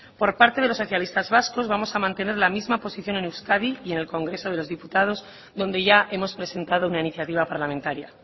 por parte de los socialistas vascos vamos a mantener la misma posición en euskadi y en el congreso de los diputados donde ya hemos presentado una iniciativa parlamentaria